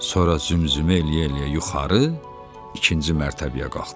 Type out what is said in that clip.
Sonra zümzümə eləyə-eləyə yuxarı ikinci mərtəbəyə qalxdı.